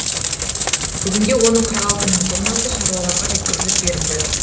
бүгінде оның қырық алты мың тоннасы шаруаларға жеткізіліп берілді